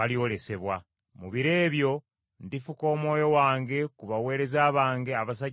Mu biro ebyo ndifuka Omwoyo wange ku baweereza bange abasajja n’abakazi.